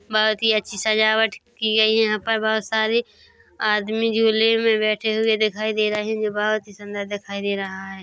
बहोत ही अच्छी सजावट की गई है यहा पर बोहोत सारे आदमी झूले मे बेठे हुवे दिखाई दे रहे है बोहोत ही सुंदर दिखाई दे रहा है।